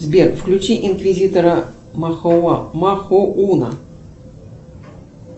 сбер включи инквизитора махоуна